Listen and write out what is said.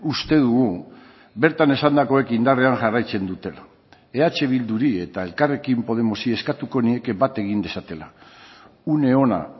uste dugu bertan esandakoek indarrean jarraitzen dutela eh bilduri eta elkarrekin podemosi eskatuko nieke bat egin dezatela une ona